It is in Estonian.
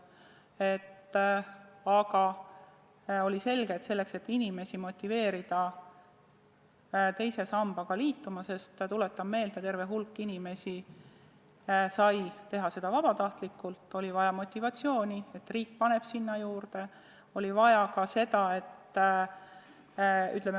Aga oli selge, et selleks, et inimesi motiveerida teise sambaga liituma – tuletan meelde, terve hulk inimesi sai teha seda vabatahtlikult –, oli vaja tekitada motivatsiooni, et riik paneb sinna raha juurde.